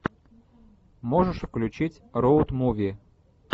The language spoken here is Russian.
можешь включить роуд муви